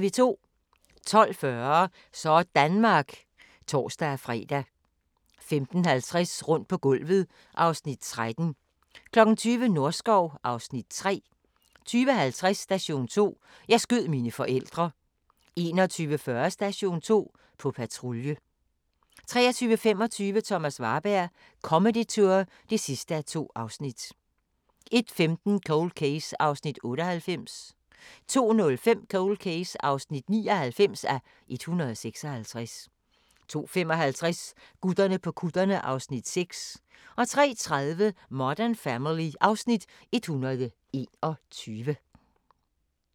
12:40: Sådanmark (tor-fre) 15:50: Rundt på gulvet (Afs. 13) 20:00: Norskov (Afs. 3) 20:50: Station 2: Jeg skød mine forældre 21:40: Station 2: På patrulje 23:25: Thomas Warberg – Comedy Tour (2:2) 01:15: Cold Case (98:156) 02:05: Cold Case (99:156) 02:55: Gutterne på kutterne (Afs. 6) 03:30: Modern Family (Afs. 121)